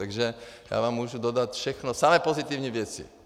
Takže já vám můžu dodat všechno, samé pozitivní věci.